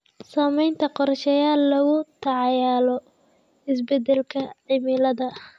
Samaynta qorshayaal lagula tacaalayo isbeddelka cimilada.